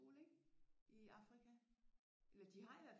Ikke i Afrika eller de har i hvert